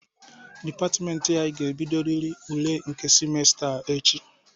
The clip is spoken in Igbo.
Dịpatịmentị ga-ebidoriri ule nke simesta a echi.